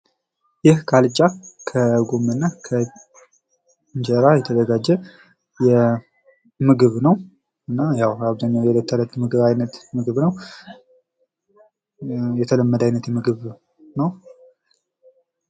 ይህ ካልቻ ከጎመን እና እንጀራ የተዘጋጀ ምግብ ነዉ። እና ያዉ የተለመደ አይነት ምግብ ነዉ።